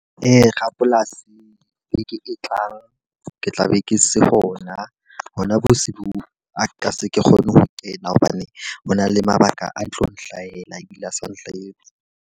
Rapolasi beke e tlang ke tla be ke se hona. Jona bosiu a ka se kgone ho kena hobane hona le mabaka a tlo nhlahela ebile a sa nhlahetse.